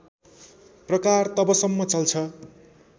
प्रकार तबसम्म चल्छ